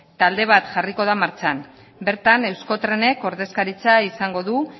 talde bat jarriko da martxan bertan euskotrenek ordezkaritza izango du